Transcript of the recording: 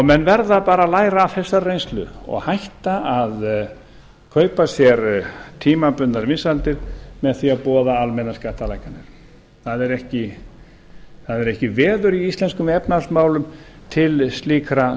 menn verða bara að læra af þessari reynslu og hætta að kaupa sér tímabundnar vinsældir með því að boða almennar skattalækkanir það er ekki veður í íslenskum efnahagsmálum til slíkra